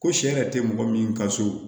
Ko sɛ yɛrɛ tɛ mɔgɔ min ka so